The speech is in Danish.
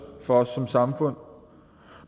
for os som samfund